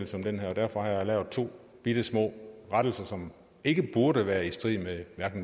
som det her og derfor har jeg lavet to bittesmå rettelser som ikke burde være i strid med